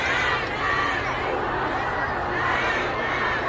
Ləbbeyk, Ya Hüseyn! Ləbbeyk, Ya Hüseyn!